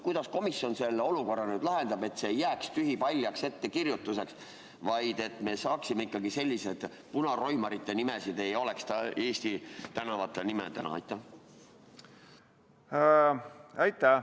Kuidas komisjon selle olukorra lahendab, et see ei jääks tühipaljaks ettekirjutuseks, vaid et sellised punaroimarite nimed ei oleks Eesti tänavanimed?